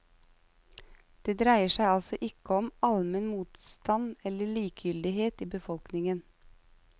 Det dreier seg altså ikke om en allmenn motstand eller likegyldighet i befolkningen.